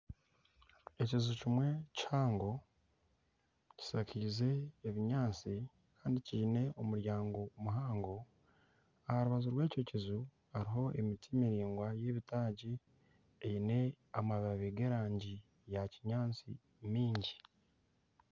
Ekiju kimwe kihango kishakaize ebinyaatsi kandi kiine omuryango muhango. Aha rubaju rw'ekyo kiju hariho emiti miraingwa y'ebitaagi. Eine amababi g'erangi ya kinyaatsi mingi.